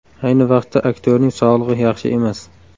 Ayni vaqtda aktyorning sog‘lig‘i yaxshi emas.